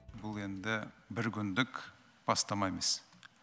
бұл енді бір күндік бастама емес